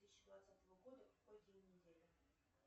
две тысячи двадцатого года какой день недели